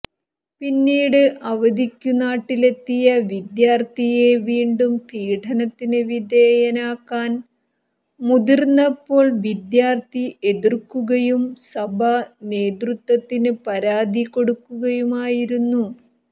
പിന്നീട് അവധിക്കു നാട്ടിലെത്തിയ വിദ്യാർത്ഥിയെ വീണ്ടും പീഡനത്തിന് വിധേയനാക്കാൻ മുതിർന്നപ്പോൾ വിദ്യാർത്ഥി എതിർക്കുകയും സഭ നേതൃത്വത്തിന് പരാതി കൊടുക്കുകയുമായിരുന്നു